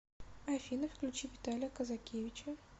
афина включи виталия казакевича